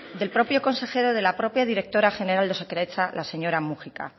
del propio consejero de la propia directora general de osakidetza la señora múgica